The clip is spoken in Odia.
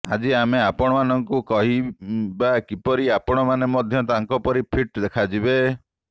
ଆଜି ଆମେ ଆପଣଙ୍କୁ କହିବା କିପରି ଆପଣମାନେ ମଧ୍ୟ ତାଙ୍କପରି ଫିଟ୍ ଦେଖାଯିବେ